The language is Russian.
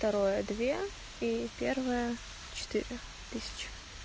второе две и первое четыре тысячи